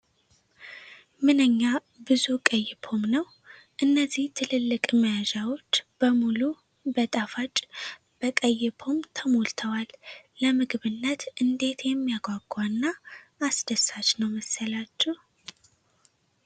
ምንኛ ብዙ ቀይ ፖም ነው! እነዚህ ትልልቅ መያዣዎች በሙሉ በጣፋጭ፣ በቀይ ፖም ተሞልተዋል! ለምግብነት እንዴት የሚያጓጓና አስደሳች ነው መሰላችሁ ።